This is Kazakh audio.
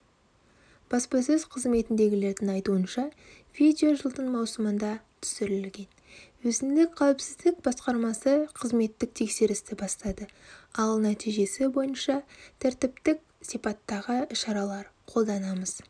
баспасөз қызметіндегілердің айтуынша видео жылдың маусымында түсірілген өзіндік қауіпсіздік басқармасы қызметтік тексерісті бастады ал нәтижесі бойыншатәртіптік сипаттағы шаралар қолданамыз